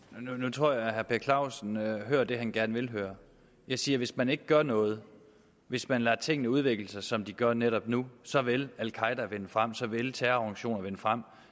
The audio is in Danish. tror jeg at herre per clausen hører det han gerne vil høre jeg siger at hvis man ikke gør noget hvis man lader tingene udvikle sig som de gør netop nu så vil al qaeda vinde frem så vil terrororganisationer vinde frem